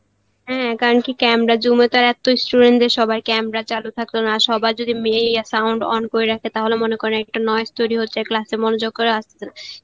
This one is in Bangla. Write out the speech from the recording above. হ্যাঁ কারণ কি camera zoom এ তো এত student দের সবার camera চালু থাকত না সবার যদি মেয়ে~ sound অং করে রাখে তাহলে মনে করেন একটা তৈরী হচ্ছে class এ মনোযোগ করা আসছে না